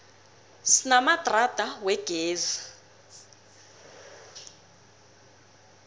sinamadrada wegezi